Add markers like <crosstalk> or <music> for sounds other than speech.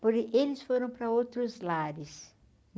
<unintelligible> eles foram para outros lares.